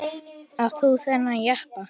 Átt þú þennan jeppa?